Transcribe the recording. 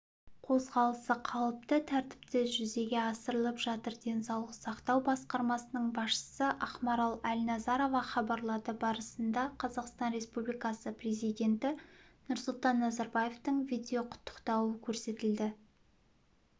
қозғалысы қалыпты тәртіпте жүзеге асырылып жатыр денсаулық сақтау басқармасының басшысы ақмарал әлназарова хабарлады барысында қазақстан республикасы президенті нұрсұлтан назарбаевтың видеоқұттықтауы көрсетілді